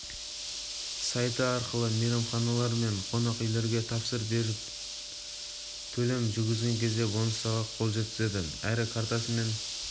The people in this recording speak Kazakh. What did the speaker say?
сайты арқылы мейманханалар мен қонақүйлерге тапсырыс беріп төлем жүргізген кезде бонустарға қол жеткізеді әрі картасымен